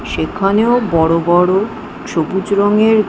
সেখানেও বড় বড় সবুজ রঙের--